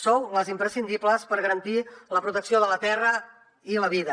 sou les imprescindibles per garantir la protecció de la terra i la vida